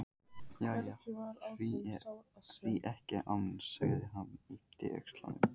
Jæja, því ekki það annars sagði hann og yppti öxlum.